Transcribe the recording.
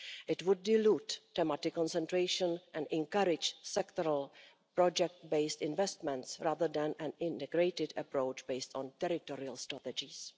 It would dilute thematic concentration and encourage sectoral project based investments rather than an integrated approach, based on territorial strategies.